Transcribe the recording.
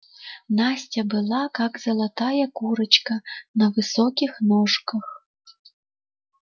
настя была как золотая курочка на высоких ножках